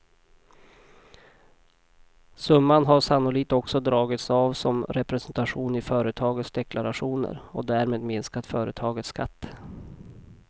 Summan har sannolikt också dragits av som representation i företagens deklarationer och därmed minskat företagens skatt.